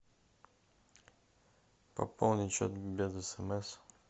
пополнить счет без смс